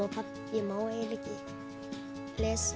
ég má eiginlega ekki lesa